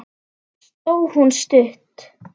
Sló hún stutt?